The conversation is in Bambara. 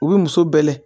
U bɛ muso bɛ